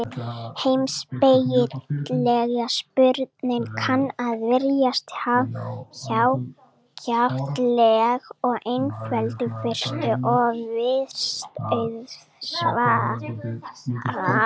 Heimspekileg spurning kann að virðast hjákátleg og einföld í fyrstu, og virst auðsvarað.